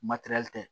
Matɛrɛli tɛ